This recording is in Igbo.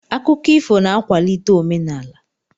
Akụkọ ifo na-akwalite omenaala.